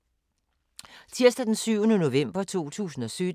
Tirsdag d. 7. november 2017